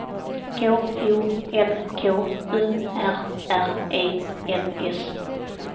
K O N K U R R E N S